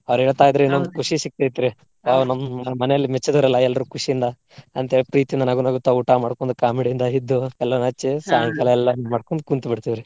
ಅವ್ರ ಹೇಳ್ತಾ ಇದ್ರೆ ನಮ್ಗ್ ಖುಷಿ ಸಿಗ್ತೇತ್ರಿ. ಅವಾಗ ನಮ್ಮ ಮನೆಯಲ್ಲಿ ಮೆಚ್ಚಿದರಲ್ಲಾ ಎಲ್ರೂ ಖುಷಿಯಿಂದ ಅಂತ ಹೇಳಿ ಪ್ರೀತಿಯಿಂದ ನಗು ನಗುತ್ತಾ ಊಟ ಮಾಡ್ಕೊಂಡ್ comedy ಯಿಂದ ಇದ್ದು ಹಚ್ಚಿ ಸಾಯಂಕಾಲಾ ಎಲ್ಲಾ ಇದನ್ನ ಮಾಡ್ಕೊಂಡ ಕುಂತ ಬಿಡ್ತಿವ್ರಿ.